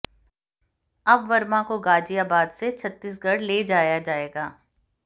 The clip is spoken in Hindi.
अब वर्मा को गाजियाबाद से छत्तीसगढ़ ले जाया जाएगा